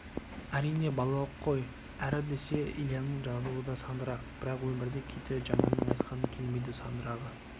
әрине балалық қой әрі десе ильяның жазуы да сандырақ бірақ өмірде кейде жаманның айтқаны келмейді сандырағы